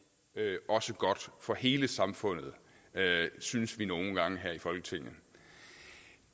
også godt for hele samfundet synes vi nogle gange her i folketinget